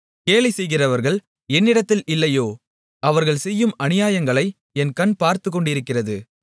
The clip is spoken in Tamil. கேலி செய்கிறவர்கள் என்னிடத்தில் இல்லையோ அவர்கள் செய்யும் அநியாயங்களை என் கண் பார்த்துக்கொண்டிருக்கிறது